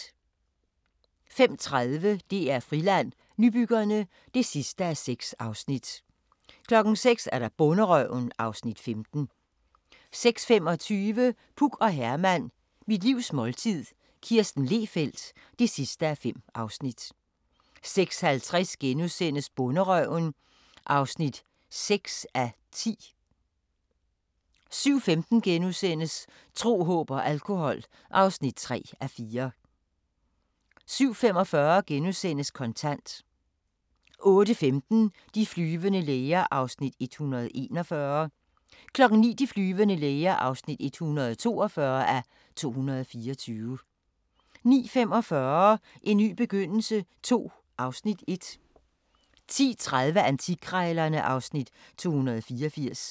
05:30: DR-Friland: Nybyggerne (6:6) 06:00: Bonderøven (Afs. 15) 06:25: Puk og Herman – Mit livs måltid – Kirsten Lehfeldt (5:5) 06:50: Bonderøven (6:10)* 07:15: Tro, håb og alkohol (3:4)* 07:45: Kontant * 08:15: De flyvende læger (141:224) 09:00: De flyvende læger (142:224) 09:45: En ny begyndelse II (Afs. 1) 10:30: Antikkrejlerne (Afs. 284)